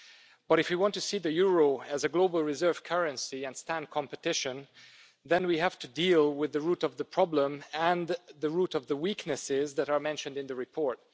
But if we want to see the euro as a global reserve currency and stand competition, then we have to deal with the root of the problem, and the root of the weaknesses that are mentioned in the report.